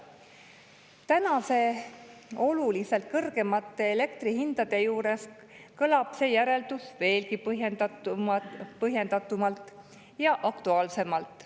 Tänaste oluliselt kõrgemate elektri hindade juures kõlab see järeldus veelgi põhjendatumalt ja aktuaalsemalt.